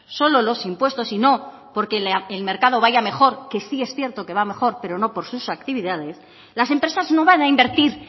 solo los impuestos y no porque el mercado vaya mejor que sí es cierto que va mejor pero no por sus actividades las empresas no van a invertir